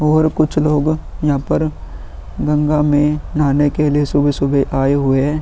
और कुछ लोग यहाँ पर गंगा में नहाने के लिए सुबह सुबह आये हुए हैं।